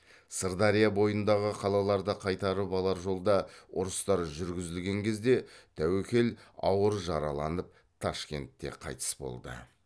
сырдария бойындағы қалаларды қайтарып алар жолда ұрыстар жүргізілген кезде тәуекел ауыр жараланып ташкентте қайтыс болды